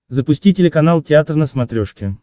запусти телеканал театр на смотрешке